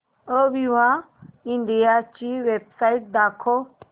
Aviva India ची website दाखवा